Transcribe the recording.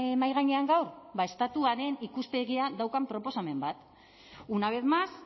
mahai gainean gaur ba estatuaren ikuspegia daukan proposamen bat una vez más